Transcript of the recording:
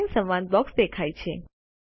line સંવાદ box દેખાય છે